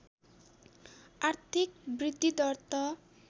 आर्थिक वृद्धिदर त